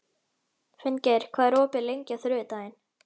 Finngeir, hvað er opið lengi á þriðjudaginn?